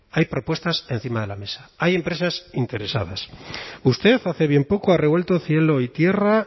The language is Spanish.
hay propuestas encima de la mesa hay empresas interesadas usted hace bien poco ha revuelto cielo y tierra